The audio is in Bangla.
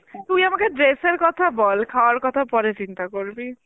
তুই আমাকে dress এর কথা বল খাওয়ার কথা পরে চিন্তা করবি